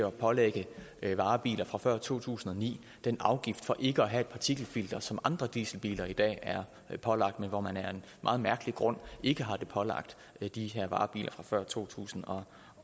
pålægge varebiler fra før to tusind og ni den afgift for ikke at have et partikelfilter som andre dieselbiler i dag er pålagt men hvor man af en meget mærkelig grund ikke har pålagt det de her varebiler fra før to tusind